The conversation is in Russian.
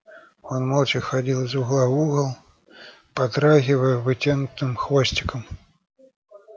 он молча ходил из угла в угол подрагивая вытянутым хвостиком